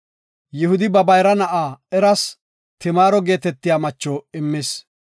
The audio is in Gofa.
Yihudi ba bayra na7a Eras Timaaro geetetiya macho immis.